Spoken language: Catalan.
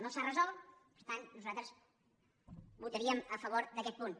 no s’ha resolt per tant nosaltres votaríem a favor d’aquest punt